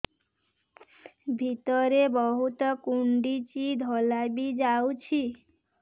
ଭିତରେ ବହୁତ କୁଣ୍ଡୁଚି ଧଳା ବି ଯାଉଛି